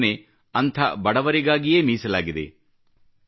ಈ ಯೋಜನೆ ಅಂಥ ಬಡವರಿಗಾಗಿಯೇ ಮೀಸಲಾಗಿದೆ